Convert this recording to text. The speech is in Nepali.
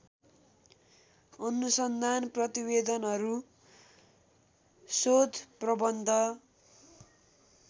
अनुसन्धान प्रतिवेदनहरू शोधप्रबन्ध